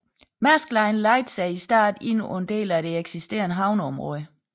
Maersk Line lejede sig i starten ind på en del af et eksisterende havneområde